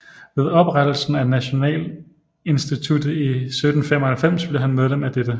Ved oprettelsen af Nationalinstituttet i 1795 blev han medlem af dette